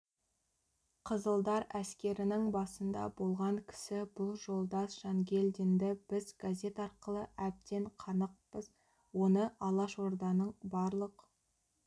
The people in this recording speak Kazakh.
қызылдар әскерінің басында болған кісі бұл жолдас жангелдинді біз газет арқылы әбден қанықпыз оны алашорданың барлық